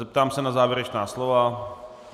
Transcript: Zeptám se na závěrečná slova.